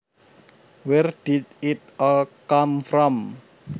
Where did it all come from